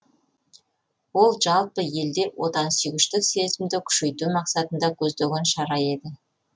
ол жалпы елде отансүйгіштік сезімді күшейту мақсатын көздеген шара еді